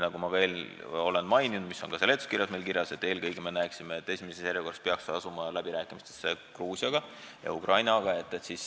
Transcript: Nagu ma juba mainisin ja nagu on ka seletuskirjas kirjas, eelkõige võiks meie arvates esimeses järjekorras asuda läbirääkimistesse Gruusia ja Ukrainaga.